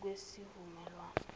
kwesivumelwan